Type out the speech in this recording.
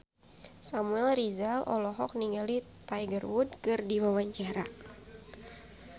Samuel Rizal olohok ningali Tiger Wood keur diwawancara